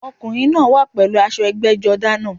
Ọkùnrin náá wà pèlú aṣọ ẹgbẹ́jọdá náà